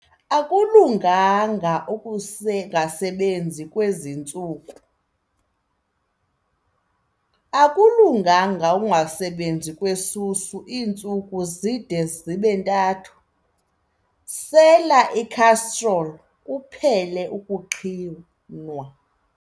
Akulunganga ukungasebenzi kwezi ntsuku. Akulunganga ukungasebenzi kwesusu iintsuku zide zibe ntathu, sela ikhastroli kuphele ukuqhinwa.